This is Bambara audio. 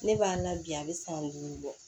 Ne b'a la bi a bɛ san duuru bɔ